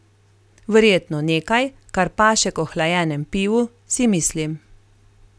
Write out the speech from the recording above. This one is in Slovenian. Verjetno nekaj, kar paše k ohlajenem pivu, si mislim.